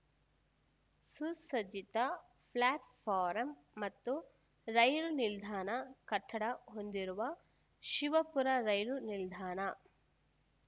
ಸುಸಜ್ಜಿತ platform ಮತ್ತು ರೈಲು ನಿಲ್ದಾಣ ಕಟ್ಟಡ ಹೊಂದಿರುವ ಶಿವಪುರ ರೈಲು ನಿಲ್ದಾಣ